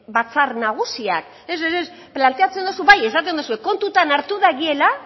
batzar nagusiak ez ez ez planteatzen duzu bai esaten dozu kontutan hartu dagiela